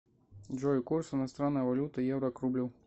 джой курс иностранной валюты евро к рублю